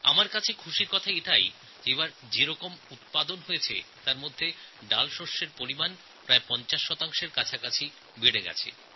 আমার কাছে এটা আনন্দের খবর যে এবার যে ফসল হয়েছে তাতে ডালের পরিমাণ প্রায় ৫০ শতাংশ বৃদ্ধি পেয়েছে